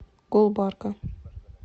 гулбарга